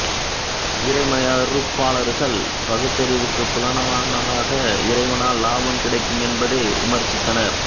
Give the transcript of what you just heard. இறைமறுப்பாளர்கள் பகுத்தறிவுக்குப் புலனாகாத இறைவனால் லாபம் கிடைக்கும் என்பதை விமர்சித்தனர்